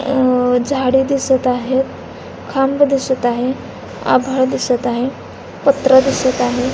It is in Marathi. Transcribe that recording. अ झाडे दिसत आहेत खांब दिसत आहे आभाळ दिसत आहेत पत्रा दिसत आहे.